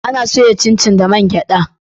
A na soya cincin da man gyada